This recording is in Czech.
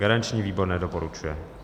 Garanční výbor nedoporučuje.